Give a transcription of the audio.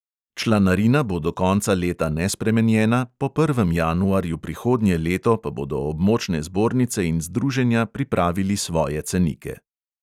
Članarina bo do konca leta nespremenjena, po prvem januarju prihodnje leto pa bodo območne zbornice in združenja pripravili svoje cenike.